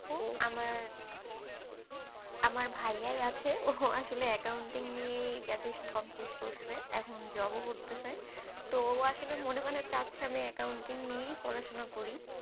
আমার আমরা ভাইয়াই আছে। ও আসলে accounting নিয়েই graduation complete করছে। এখন job ও করতেছে। তো ও আসলে মনে মানে চাচ্ছে আমি accounting নিয়েই পড়াশোনা করি?